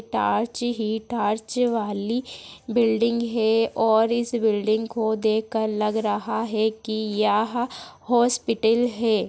Torch ही torch वाली building है और इस बिल्डिंग को देख कर लग रहा है की यह हॉस्पिटल है।